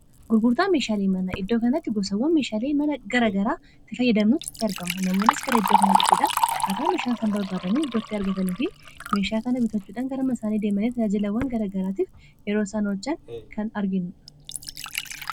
gurgurtaa meeshaalii mana iddoo kanaatti gosawwan meeshaalii mana gara garaa ti fayyadamnuuttti argama namuonnis gara iddoo kanaa dhufuudaan kaataa meeshaansan barbaadamii iddootti argatanii fi meeshaa kana bitachuudhangarama isaanii deemalee taajilawwan gara garaatiif yeroo sanochaan kan arginnudha